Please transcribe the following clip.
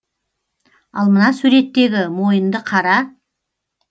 ал мына суреттегі мойынды қара